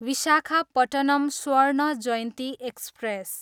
Visakhapatnam Swarna Jayanti express